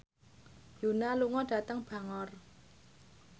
Yoona lunga dhateng Bangor